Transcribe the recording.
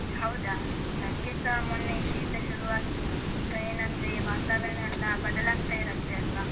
ಹೌದಾ? ನಂಗೆಸ ಮೊನ್ನೆ ಶೀತ ಶುರುವಾಗಿತ್ತು. ಈಗ ಏನಂದ್ರೇ, ವಾತಾವರಣ ಎಲ್ಲ ಬದಲಾಗ್ತಾ ಇರತ್ತೆ ಅಲ್ವಾ?